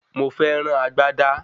Mo fẹ́ rán agbádá